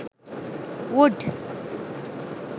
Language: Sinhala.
wood